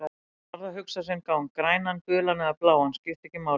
Hann varð að hugsa sinn gang, grænan, gulan eða bláan, skipti ekki máli.